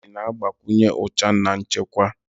Pentị na-agbakwụnye ụcha na nchekwa.